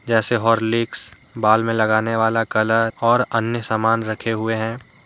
जैसे हॉर्लिक्स बाल में लगाने वाला कलर और अन्य समान भी रखे हुए हैं।